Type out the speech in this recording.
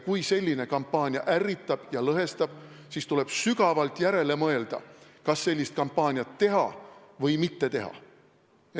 Kui selline kampaania ärritab ja lõhestab, siis tuleb sügavalt järele mõelda, kas sellist kampaaniat teha või mitte teha.